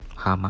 хама